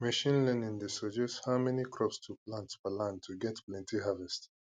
machine learning dey suggest how many crops to plant per land to get plenty harvest